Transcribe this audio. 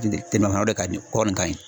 ka di kɔɔri ka ɲi.